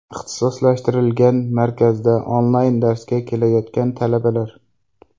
Ixtisoslashtirilgan markazda onlayn darsga kelayotgan talabalar.